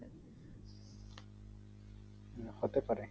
হুম হতে পারে